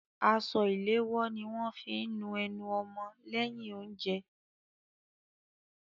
Aṣọ ìléwọ́ ni wọ́n fí ń nu ẹnu ọmọ lẹ́yìn oúnjẹ.